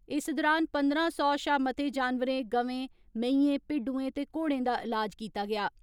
इस दुरान पंदरां सौ शां मते जानवरें गवें, मईयें, भिड्डुएं ते घोड़ें दा इलाज कीता गेआ।